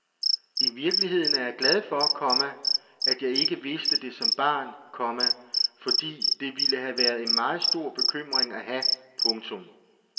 I virkeligheden er jeg glad for, komma at jeg ikke vidste det som barn, komma fordi det ville have været en meget stor bekymring at have. punktum